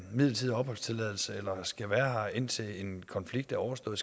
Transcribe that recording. midlertidig opholdstilladelse eller skal være her indtil en konflikt er overstået